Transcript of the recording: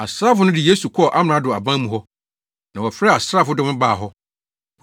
Asraafo no de Yesu kɔɔ amrado aban mu hɔ, na wɔfrɛɛ asraafo dɔm baa hɔ.